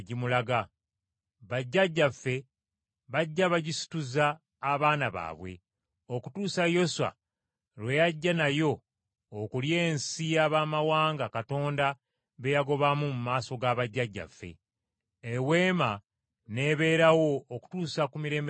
Bajjajjaffe bajja bagisituzza abaana baabwe, okutuusa Yoswa lwe yajja nayo okulya ensi y’abamawanga Katonda be yagobanga mu maaso ga bajjajjaffe. Eweema n’ebeerawo okutuusa ku mirembe gya Dawudi.